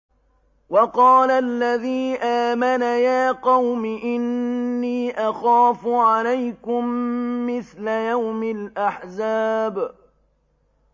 وَقَالَ الَّذِي آمَنَ يَا قَوْمِ إِنِّي أَخَافُ عَلَيْكُم مِّثْلَ يَوْمِ الْأَحْزَابِ